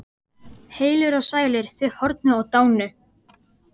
Heilir og sælir, þið horfnu og dánu.